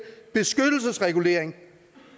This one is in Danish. beskyttelsesregulering